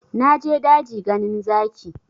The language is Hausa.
Na je daji ganin zaki